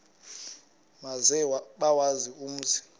maze bawazi umzi